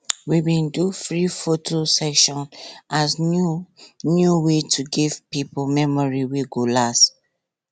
we bin do free photo session as new new way to give pipo memory wey go last